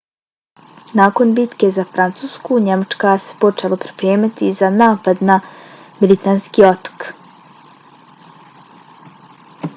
nakon bitke za francusku njemačka se počela pripremati za napad na britanski otok